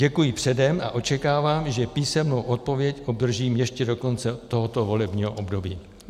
Děkuji předem a očekávám, že písemnou odpověď obdržím ještě do konce tohoto volebního období.